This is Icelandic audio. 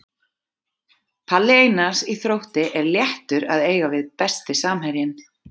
Palli Einars í Þrótti er léttur að eiga við Besti samherjinn?